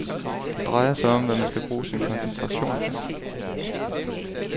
Det drejer sig om, hvad man skal bruge sin koncentration til.